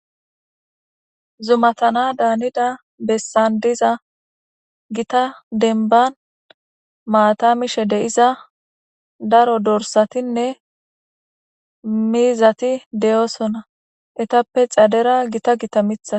Zuma tana daanida bessan diza gita denban maatamishe deiza daro dorsatinne miizati deyoosona etappe xadera gita gita mitha.